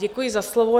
Děkuji za slovo.